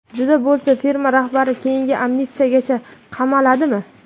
Juda bo‘lsa firma rahbari keyingi amnistiyagacha qamaladimi?